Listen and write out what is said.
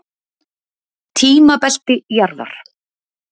Tímabelti jarðar.